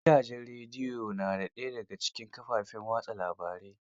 Gidajen rediyo na daya da cikin kafafen watsa labarai